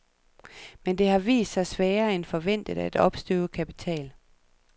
Men det har vist sig sværere end forventet at opstøve kapital.